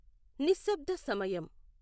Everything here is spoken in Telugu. నిశ్శబ్ద సమయం